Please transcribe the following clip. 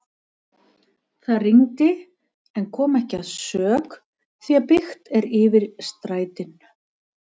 Það rigndi en kom ekki að sök því byggt er yfir strætin.